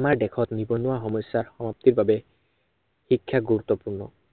আমাৰ দেশত নিৱনুৱা সমস্য়া সমাপ্তিৰ বাবে শিক্ষা গুৰুত্বপূৰ্ণ।